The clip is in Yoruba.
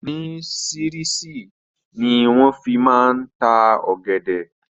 Ni sirisiri ni wọn fi máa ń ta ọ̀gẹ̀dẹ̀